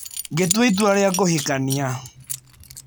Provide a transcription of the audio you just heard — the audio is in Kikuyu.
Ngĩtua itua rĩa kũhikania.